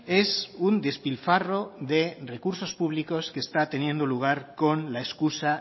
es un despilfarro de recursos públicos que está teniendo lugar con la excusa